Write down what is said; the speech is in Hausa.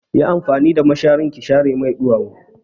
Yi amfani da mashari ki share mai ɗuwawu!